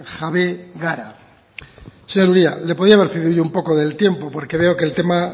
jabe gara señor uria le podía haber cedido yo un poco del tiempo porque veo que el tema